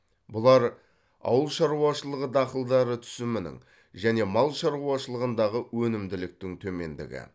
бұлар ауыл шаруашылығы дақылдары түсімінің және мал шаруашылығындағы өнімділіктің төмендігі